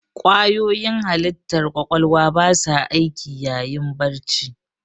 Ƙwayoyin halittar ƙwaƙwalwa ba sa aiki yayin barci.